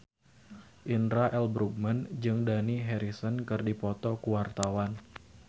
Indra L. Bruggman jeung Dani Harrison keur dipoto ku wartawan